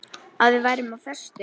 Að við værum á föstu.